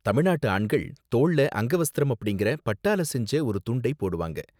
தமிழ்நாட்டு ஆண்கள் தோள்ல அங்கவஸ்தரம் அப்படிங்கற பட்டால செஞ்ச ஒரு துண்டை போடுவாங்க